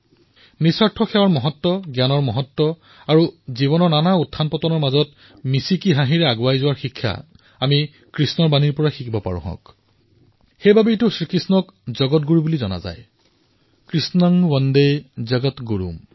নিস্বাৰ্থ সেৱাৰ গুৰুত্ব জ্ঞানৰ গুৰুত্ব অথবা জীৱনত বিভিন্ন উত্থানপতনৰ মাজতো আগ বঢ়াৰ গুৰুত্ব এয়া আমি ভগৱান কৃষ্ণৰ বাৰ্তাৰ পৰা শিকিব পাৰো আৰু সেইবাবে শ্ৰী কৃষ্ণক জগতগুৰু হিচাপে জনাযায় কৃষ্ণম্ বন্দে জগতগুৰুম